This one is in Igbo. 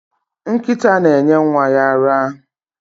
Nkịta na-enye nwa ya ara.